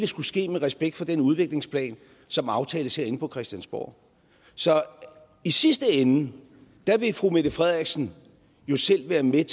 skulle ske med respekt for den udviklingsplan som aftales herinde på christiansborg så i sidste ende vil fru mette frederiksen jo selv været med